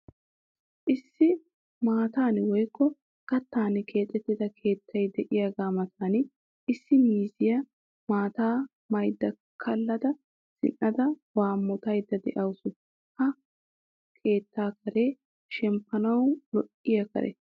Issi maatan woykko gattan keexettida keettay de'iyagaa matan issi miizziya maataa maada kallada zin"ada waammotaydda de'awusu. Ha keettaa karee shemppanawu lo'iya kare.